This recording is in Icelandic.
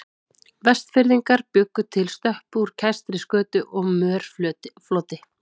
Vestfirðingar bjuggu til stöppu úr kæstri skötu og mörfloti.